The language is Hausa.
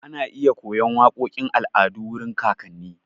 Ana iya koyan waƙoƙin al'adu wurin kakanni.